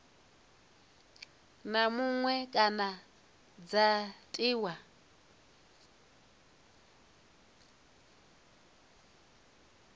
na muṅwe kana dza tiwa